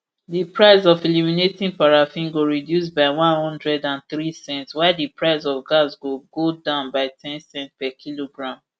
di price of illuminating paraffin go reduce by one hundred and three cents while di price of gas go go down by ten cents per kilogram